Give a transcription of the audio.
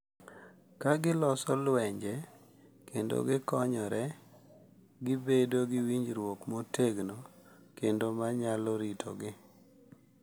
Ka giloso lwenje, kendo gikonyore, gibedo gi winjruok motegno kendo ma nyalo ritogi.